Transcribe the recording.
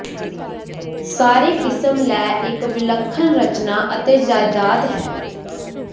ਸਾਰੇ ਕਿਸਮ ਲੈ ਇੱਕ ਵਿਲੱਖਣ ਰਚਨਾ ਅਤੇ ਜਾਇਦਾਦ ਹੈ